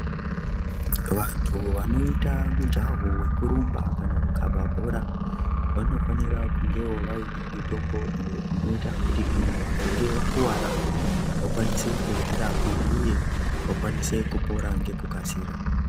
Vantu vanoite mujaho wekurumba kanawo kukhabe bhora, vanofanire kunge vainewo mitombo inoite kuti kana vakange vakuwara vakwanise kuzvirapa uye vakwanise kupora ngekukasira.